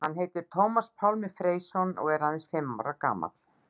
Hann heitir Tómas Pálmi Freysson og er aðeins fimm ára gamall.